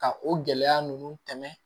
Ka o gɛlɛya ninnu tɛmɛ